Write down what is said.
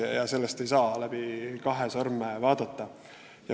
Sellisele asjale ei saa läbi kahe sõrme vaadata.